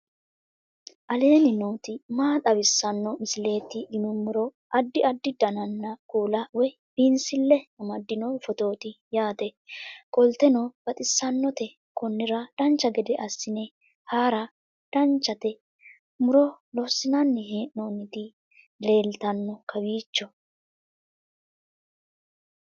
aleenni nooti maa xawisanno misileeti yinummoro addi addi dananna kuula woy biinsille amaddino footooti yaate qoltenno baxissannote konnira dancha gede assine haara danchate muro lossinanni hee'nooniti leeltanno kowiicho